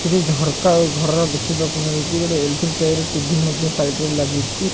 କିଛି ଝରକା ଆଉ ଘର ଦେଖି ବାକୁ ମିଳୁଛି ଏଲସିଡି ଟାଇପ୍ ଟିଭି ଲାଗିଛି।